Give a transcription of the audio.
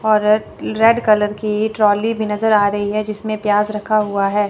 और रे red colour की ट्रॉली भी नजर आ रही है जिसमें प्याज रखा हुआ है।